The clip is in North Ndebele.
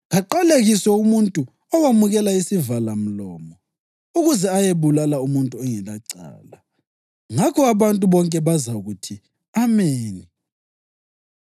‘Kaqalekiswe umuntu owamukela isivalamlomo ukuze ayebulala umuntu ongelacala.’ Ngakho abantu bonke bazakuthi, ‘Ameni!’